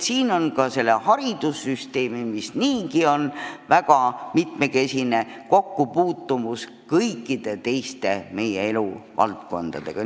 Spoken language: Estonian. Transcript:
Siin me näeme, kuidas meie haridussüsteem, mis niigi on väga mitmekesine, on seotud meie kõikide teiste eluvaldkondadega.